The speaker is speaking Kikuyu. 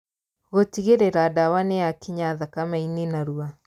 Gũtigĩrĩra ndawa nĩyakinya thakame-inĩ narua